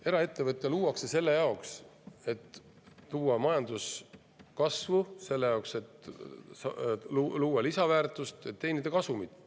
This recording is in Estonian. Eraettevõte luuakse selle jaoks, et luua majanduskasvu, selle jaoks, et luua lisaväärtust, teenida kasumit.